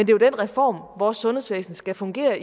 jo den reform vores sundhedsvæsen skal fungere